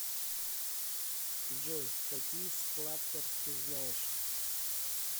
джой какие сплаттер ты знаешь